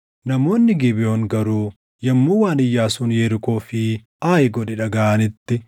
Namoonni Gibeʼoon garuu yommuu waan Iyyaasuun Yerikoo fi Aayi godhe dhagaʼanitti,